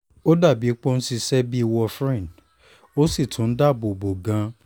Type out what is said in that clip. ó dà bíi pé ó ń ṣiṣẹ́ bí warfarin ó sì tún dáàbò bò ó gan-an